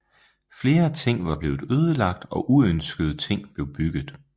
Flere ting var blevet ødelagt og uønskede ting blev bygget